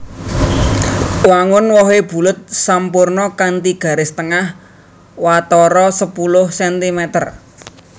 Wangun wohé bulet sampurna kanthi garis tengah watara sepuluh centimeter